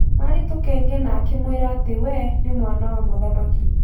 Marĩ tũkenge na akĩmwĩra atĩ we nĩ mwana wa mũthamaki.